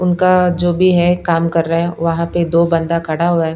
उनका जो भी है काम कर रहा है वहां पर दो बंदा खड़ा हुआ है।